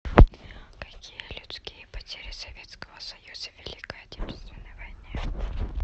какие людские потери советского союза в великой отечественной войне